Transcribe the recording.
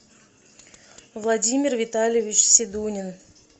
владимир витальевич седунин